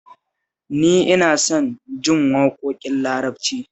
Ni ina son jin waƙoƙin Larabci